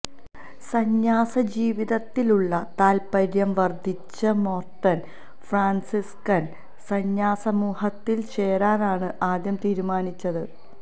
സന്യാസജീവിതത്തിലുള്ള താത്പര്യം വർദ്ധിച്ച Merton Franciscan സന്യാസസമൂഹത്തിൽ ചേരാനാണ് ആദ്യം തീരുമാനിച്ചത്